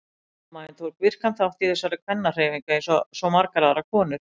Mamma þín tók virkan þátt í þessari kvennahreyfingu eins og svo margar aðrar konur.